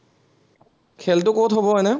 খেলটো কত হব এনেই?